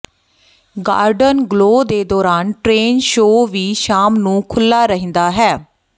garden glow ਦੇ ਦੌਰਾਨ train show ਵੀ ਸ਼ਾਮ ਨੂੰ ਖੁੱਲ੍ਹਾ ਰਹਿੰਦਾ ਹੈ